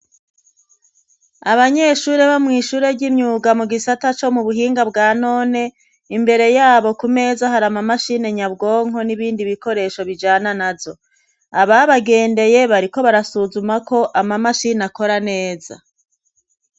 Abanyeshure bo mw'ishure ry'imyuga mu gisata co mu buhinga bwa none, imbere yabo ku meza hari amamashini nyabwonko n'ibindi bikoresho bijana nazo, ababagendeye bariko barasuzuma ko amamashini akora neza.